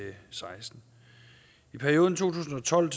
seksten i perioden to tusind og tolv